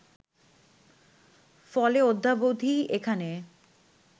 ফলে অদ্যাবধি এখানে